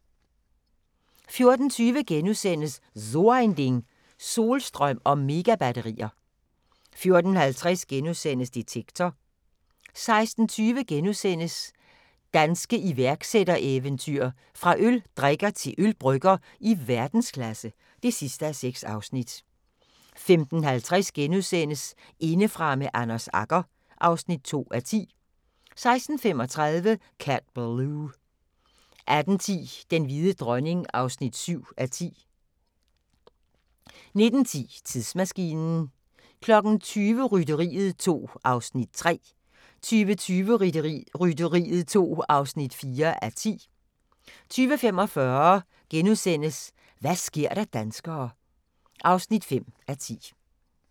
14:20: So ein Ding: Solstrøm og Megabatterier * 14:50: Detektor * 15:20: Danske iværksættereventyr – fra øldrikker til ølbrygger i verdensklasse (6:6)* 15:50: Indefra med Anders Agger (2:10)* 16:35: Cat Ballou 18:10: Den hvide dronning (7:10) 19:10: Tidsmaskinen 20:00: Rytteriet 2 (3:10) 20:20: Rytteriet 2 (4:10) 20:45: Hva' sker der danskere (5:10)*